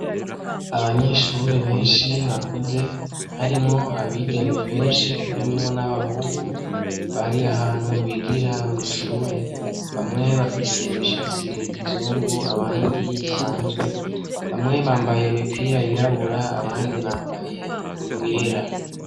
Abanyeshure benshi bakuze harimwo abigeme benshi harimwo n'abahungu bari ahantu bigira mw’ishuri , bamwe bafise imishatsi ya kizungu abandi isanzwe, bamwe bambaye imipira y'irabura abandi bambaye iyera.